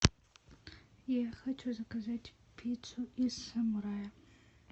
я хочу заказать пиццу из самурая